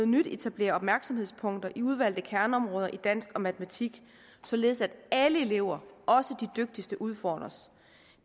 nyt etablerer opmærksomhedspunkter i udvalgte kerneområder i dansk og matematik således at alle elever også de dygtigste udfordres